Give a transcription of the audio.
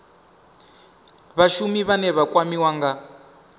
vhashumi vhane vha kwamiwa nga